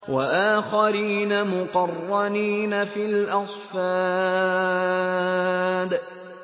وَآخَرِينَ مُقَرَّنِينَ فِي الْأَصْفَادِ